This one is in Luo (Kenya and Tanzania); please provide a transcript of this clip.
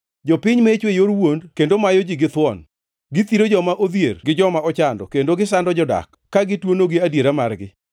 Jopiny mecho e yor wuond kendo mayo ji githuon; githiro joma odhier gi joma ochando kendo gisando jodak, ka gituonogi adiera margi.